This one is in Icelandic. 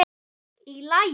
Í lagi?